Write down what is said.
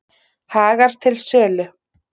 Hagar til sölu